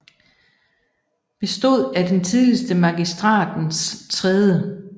Bestod af den tidligere Magistratens 3